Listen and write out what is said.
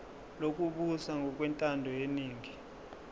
lokubusa ngokwentando yeningi